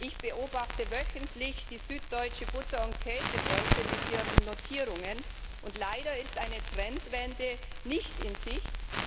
Ich beobachte wöchentlich die Süddeutsche Butter und Käse Börse mit ihren Notierungen, und leider ist eine Trendwende nicht in Sicht.